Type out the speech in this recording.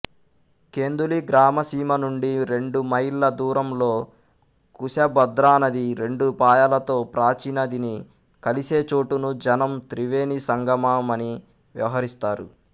కెందులి గ్రామసీమ నుండి రెండుమైళ్ళ దూరంలో ఖుశభద్రానది రెండు పాయలతో ప్రాచీనదిని కలిసేచోటును జనం త్రివేణీసంగమ మని వ్యవహరిస్తారు